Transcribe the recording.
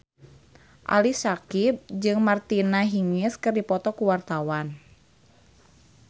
Ali Syakieb jeung Martina Hingis keur dipoto ku wartawan